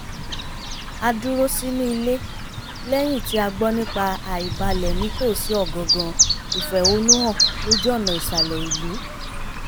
a dúró sínú ilé lẹ́yìn tí a gbọ́ nípa àìbalẹ̀ nítòsí ọ̀gangan ìfẹ̀hónúhàn lójú ọ̀nà ìsàlẹ̀ ìlú